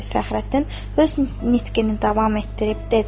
Fəxrəddin öz nitqini davam etdirib dedi: